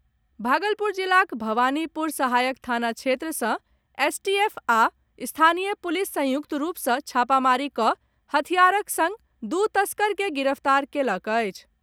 भागलपुर जिलाक भवानीपुर सहायक थाना क्षेत्र सँ एसटीएफ आ स्थानीय पुलिस संयुक्त रूप सँ छापामारी कऽ हथियारक संग दू तस्कर के गिरफ्तार कयलक अछि।